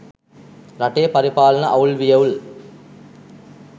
රටේ පරිපාලන අවුල් වියවුල්